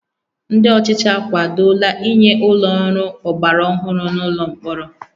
Ndị ọchịchị akwadola inye ụlọ ọrụ ọgbara ọhụrụ n'ụlọ mkpọrọ